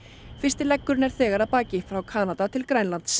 fyrsti leggurinn er þegar að baki frá Kanada til Grænlands